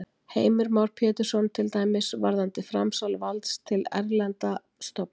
Heimir Már Pétursson: Til dæmis varðandi framsal valds til erlendra stofnana?